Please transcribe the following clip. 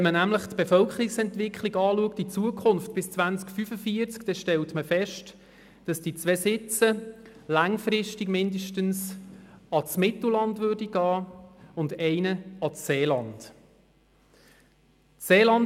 Wenn man nämlich die Bevölkerungsentwicklung bis ins Jahr 2045 anschaut, stellt man fest, dass von den zwei Sitzen langfristig zumindest einer ans Mittelland und einer ans Seeland gingen.